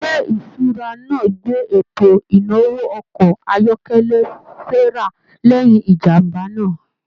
ilé ìṣura náà gbé eto inawo ọkọ ayọkẹlẹ Sarah lẹyìn ìjàmbá náà.